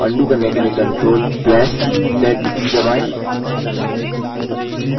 इस प्रक्रिया को undo करने के लिए ctrl + z की दबाएँ